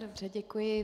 Dobře, děkuji.